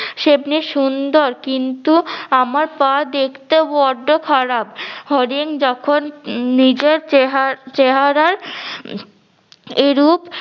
সেমনি সুন্দর কিন্তু আমার পা দেখতে বড্ডো খারাপ হরিণ যখন নিজের চেহা~ চেহারার এরূপ